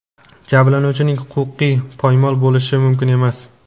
Jabrlanuvchining huquqi poymol bo‘lishi mumkin emas.